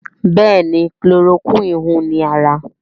Béèni Chloroquine hùn ní ára.